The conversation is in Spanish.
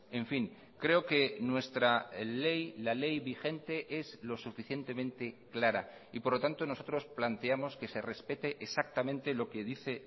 en fin creo que nuestra ley la ley vigente es lo suficientemente clara y por lo tanto nosotros planteamos que se respete exactamente lo que dice